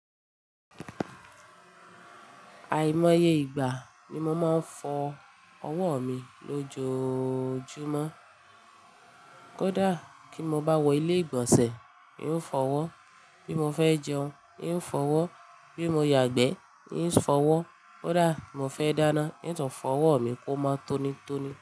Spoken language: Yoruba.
Àìmọye ìgbà ni mo máa ń fọ ọwọ́ mi lójoojúmọ́. Kódà kí n bá wọ ilé ìgbọ̀nsẹ̀, n óò fọ ọwọ́, bí mo fẹ́ jẹun, n óò fọ ọwọ́, bí mo yàgbẹ́, n óò fọ ọwọ́, kódà mo fẹ́ dáná, ní tàn fọ ọwọ́ mi kó máa tónítóní.